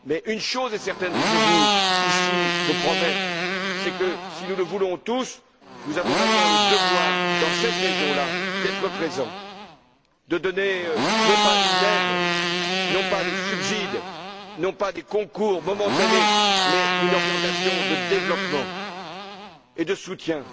Une chose est certaine et je vous le promets ici c'est que, si nous le voulons tous, nous avons maintenant le devoir, dans cette région là, d'être présents, de donner, non pas une aide, non pas des subsides, non pas des concours momentanés, mais une orientation de développement et de soutien